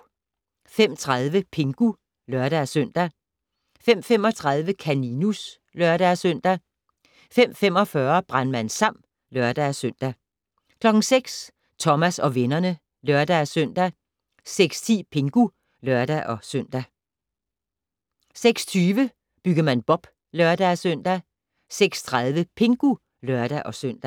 05:30: Pingu (lør-søn) 05:35: Kaninus (lør-søn) 05:45: Brandmand Sam (lør-søn) 06:00: Thomas og vennerne (lør-søn) 06:10: Pingu (lør-søn) 06:20: Byggemand Bob (lør-søn) 06:30: Pingu (lør-søn)